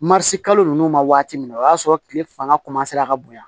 Marisi kalo ninnu ma waati min o y'a sɔrɔ kile fanga ka bonya